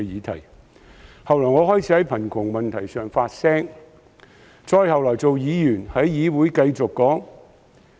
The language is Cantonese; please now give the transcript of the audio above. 其後，我開始在貧窮問題上發聲；後來做了議員，亦繼續在議會發聲。